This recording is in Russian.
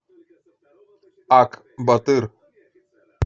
ак батыр